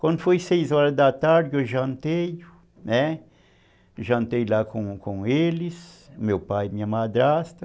Quando foi seis horas da tarde, eu jantei, né, jantei lá com eles, meu pai e minha madrasta.